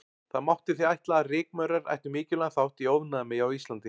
Það mátti því ætla að rykmaurar ættu mikilvægan þátt í ofnæmi á Íslandi.